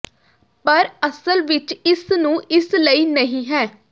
ਪਰ ਅਸਲ ਵਿਚ ਇਸ ਨੂੰ ਇਸ ਲਈ ਨਹੀ ਹੈ